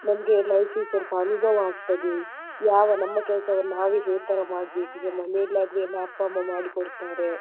ನಮಗೆ life ಗೆ ಸ್ವಲ್ಪ ಅನುಭವ ಆಗ್ತದೆ ಯಾವ ನಮ್ಮ ಕೆಲಸವನ್ನು ನಾವೇ ಯಾವತರ ಮಾಡ್ಬೇಕು ಮನೇಲಿ ಆದ್ರೆ ಅಪ್ಪ ಅಮ್ಮ ಮಾಡಿಕೊಡ್ತಾರೆ.